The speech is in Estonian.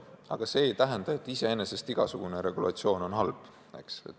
Aga muidugi see ei tähenda, et igasugune regulatsioon on halb.